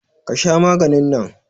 Ka Sha maganin nan.